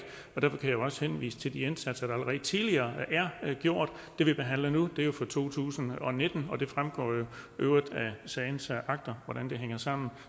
og derfor kan jeg også henvise til de indsatser der allerede tidligere er gjort det vi behandler nu er fra to tusind og nitten og det fremgår jo i øvrigt af sagens akter hvordan det hænger sammen